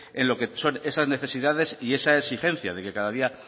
en lo que son esas necesidades y esa exigencia de que cada día